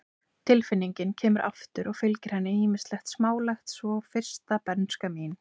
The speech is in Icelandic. Tilfinningin kemur aftur og fylgir henni ýmislegt smálegt, svo sem fyrsta bernska mín.